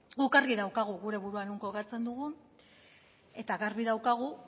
guk argi daukagu gure burua non kokatzen dugun eta gabi daukagu